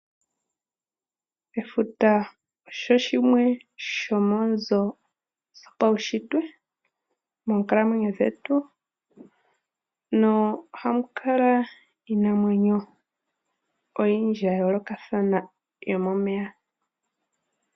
Efuta osho shimwe shomoonzo dho paushitwe moonkalamwenyo dhetu na ohamu kala iinamwenyo oyindji ya yoolokathana yomomeya.